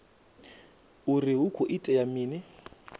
uri hu khou itea mini